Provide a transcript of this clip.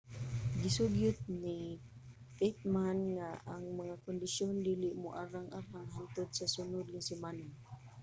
gisugyot ni pittman nga ang mga kondisyon dili moarang-arang hangtod sa sunod nga semana